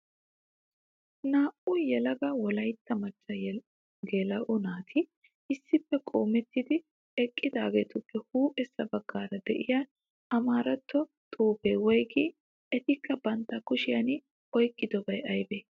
Naa'u yelaga wolayitta macca geela'o naati issippe qoometti eqidaageetuppe huuphessa baggaara diyaa amaaratto xuupee woyigii? Etikka bantta kushiyan oyiqqidobayi ayibee?